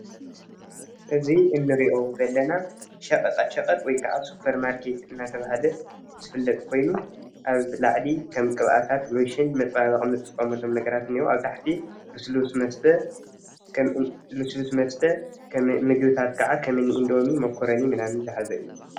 እዚ እንሪኦ ዘለና ሸቀጣሸቀጥ ወይ ከዓ ስፖር ማርኬት እንዳተባሃለ ኣብ ላዕሊ መፃባበቂ ቅብኣታት ከም ሎሽን ግሪስሊን ዝበሉ ነገራት እንሄው ኣብ ታሕቲ ከም ሉስሉስ መስተ ምግብታት ከዓ ከም እንዶሚን መኮረኒ ዝሓዘ እዩ፡፡